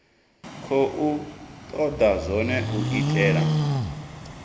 khou toda zwone u itela